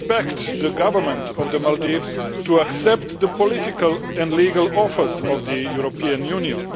We expect the Government of the Maldives to accept the political and legal offers of the European Union.